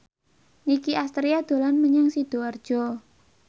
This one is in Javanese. Nicky Astria dolan menyang Sidoarjo